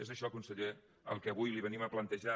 és això conseller el que avui li venim a plantejar